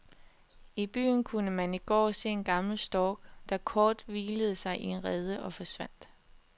I byen kunne man i går se en gammel stork, der kort hvilede sig i en rede og forsvandt.